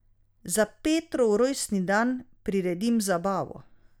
Za Petrov rojstni dan priredim zabavo.